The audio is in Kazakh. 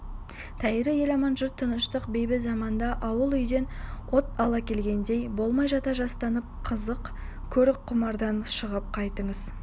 тәйірі ел аман жұрт тыныштық бейбіт заманда ауыл-үйден от ала келгендей болмай жата-жастанып қызық көріп құмардан шығып қайтыңыз